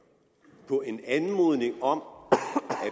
på en anmodning om